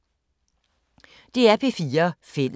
DR P4 Fælles